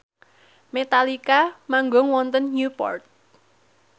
Metallica manggung wonten Newport